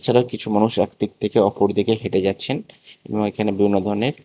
এছাড়া কিছু মানুষ একদিক থেকে অপরদিকে হেঁটে যাচ্ছেন এবং এখানে বিভিন্ন ধরনের--